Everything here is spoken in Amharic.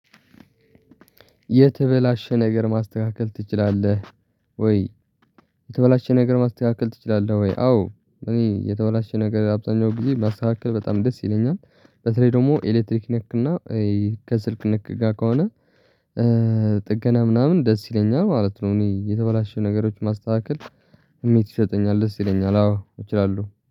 የተበላሸ ነገር ማስተካከል ትችላለህወይ የተበላሸ ነገር ማስተካከል ትችላለህወይ አወ እኔ የተበላሸ ነገር አብዛኛውን ጊዜ ማስተካከል በጣም ደስ ይለኛል በተለይ ደግሞ ኤሌክትሪክ ነክ እና ከስልክ ባር ነክ ከሆነ ጥገና ምናምን ደስ ይለኛል ማለት ነው እኔ የተበላሸ ነግሮችን ማስተካከል ስሜት ይሰጠኛል ደስ ይለኛል አወ እችላለሁ።